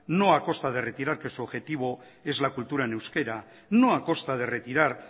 no a costa de retirar que su objetivo es la cultura en euskera no a costa de retirar